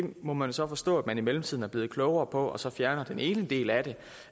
må man så forstå man i mellemtiden er blevet klogere på og så fjerner den ene del af det